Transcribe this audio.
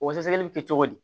O sɛgɛsɛgɛli bɛ kɛ cogo di